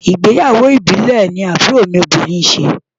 Ìgbéyàwó ìbílẹ̀ ni àbúrò mi obìnrin ṣe.